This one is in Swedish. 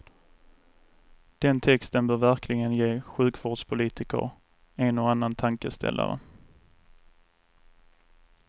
Den texten bör verkligen ge sjukvårdspolitiker en och annan tankeställare.